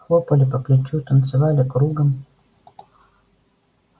хлопали по плечу танцевали кругом